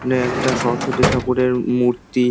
এখানে একটা সরস্বতী ঠাকুরের মূ-র্তি।